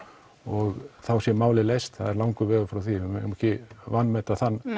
og þá sé málið leyst það er langur vegur frá því og við megum ekki vanmeta þann